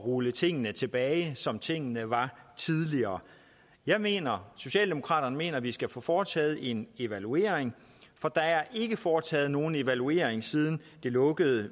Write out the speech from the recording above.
rulle tingene tilbage til det som tingene var tidligere jeg mener og socialdemokraterne mener at vi skal få foretaget en evaluering for der er ikke foretaget nogen evaluering siden det lukkede